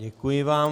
Děkuji vám.